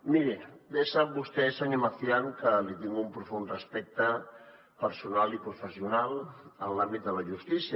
miri bé sap vostè senyor macián que li tinc un profund respecte personal i professional en l’àmbit de la justícia